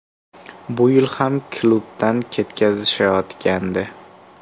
Bu yil ham klubdan ketkazishayotgandi.